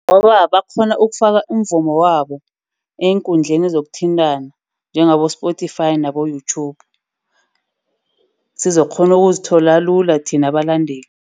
Ngoba bakghona ukufaka umvumo wabo eenkundleni zokuthintana. Njengabo-Spotify nabo-Youtube, sizokukghona ukuzithola lula thina abalandeli.